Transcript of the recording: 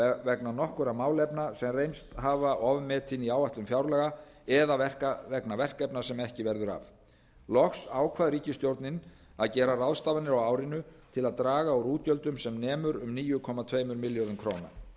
vegna nokkurra málefna sem reynst hafa ofmetin í áætlun fjárlaga eða vegna verkefna sem ekki verður af loks ákvað ríkisstjórnin að gera ráðstafanir á árinu til að draga úr útgjöldum sem nemur um níu komma tveimur milljörðum króna